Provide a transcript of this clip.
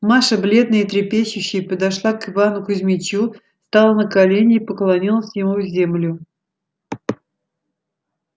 маша бледная и трепещущая подошла к ивану кузмичу стала на колени и поклонилась ему в землю